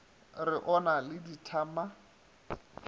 re o na le dithama